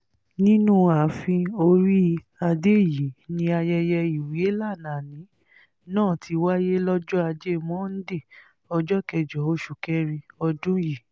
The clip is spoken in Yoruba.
nínú ààfin orí-adé yìí ni ayẹyẹ ìwélànàní náà ti wáyé lọ́jọ́ ajé monde ọjọ́ kẹjọ oṣù kẹrin ọdún yìí